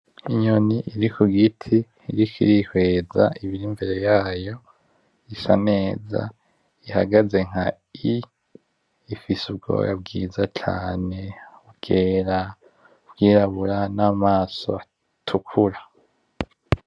Inyoni iri kugiti iriko irihweza ibiri imbere yayo isa neza ihagaze nka I, ifise ubwoya bwiza cane bwera n'ubwirabura n'amaso atukura.